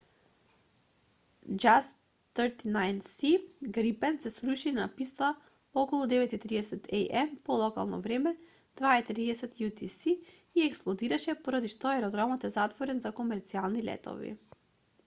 jas 39c грипен се сруши на писта околу 9:30 am по локално време 2:30 utc и експлодираше поради што аеродромот е затворен за комерцијални летови